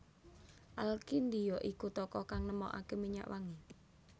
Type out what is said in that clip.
Al Kindi ya iku tokoh kang nemokake minyak wangi